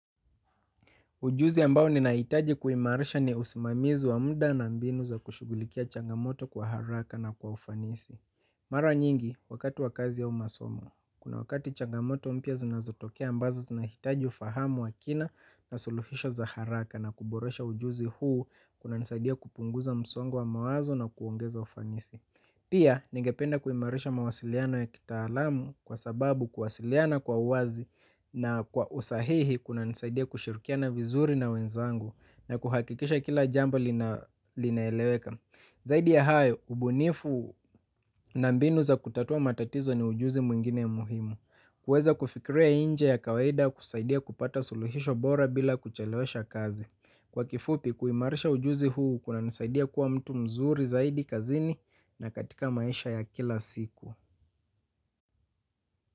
Ujuzi ambao ni nahitaji kuimarisha ni usimamizi wa muda na mbinu za kushugulikia changamoto kwa haraka na kwa ufanisi. Mara nyingi, wakati wa kazi au masomo, kuna wakati changamoto mpya zinazotokea ambazo zinahitaji ufahamu wa kina na suluhisho za haraka na kuboresha ujuzi huu kunanisaidia kupunguza msongo wa mawazo na kuongeza ufanisi. Pia, nigependa kuimarisha mawasiliano ya kitaalamu kwa sababu kuwasiliana kwa wazi na kwa usahihi kunanisaidia kushirukia vizuri na wenzangu na kuhakikisha kila jambo linaeleweka. Zaidi ya hayo, ubunifu na mbinu za kutatua matatizo ni ujuzi mwingine muhimu. Kuweza kufikria inje ya kawaida kusaidia kupata suluhisho bora bila kuchelewesha kazi. Kwa kifupi kuimarisha ujuzi huu kunanisaidia kuwa mtu mzuri zaidi kazini na katika maisha ya kila siku.